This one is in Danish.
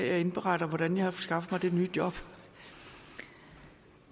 jeg indberetter hvordan jeg har skaffet mig det nye job